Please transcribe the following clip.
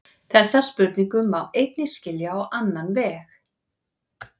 Þessa spurningu má einnig skilja á annan veg.